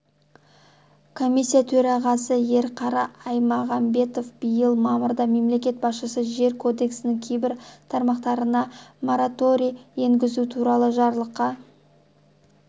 комиссия төрағасы ерқара аймағамбетов биыл мамырда мемлекет басшысы жер кодексінің кейбір тармақтарына мораторий енгізу туралы жарлыққа